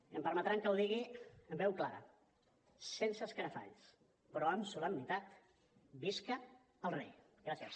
i em permetran que ho digui amb veu clara sense escarafalls però amb solemnitat visca el rei gràcies